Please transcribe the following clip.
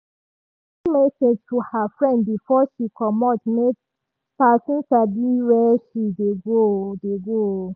she send message to her friend before she comot make person sabi where she dey go. dey go.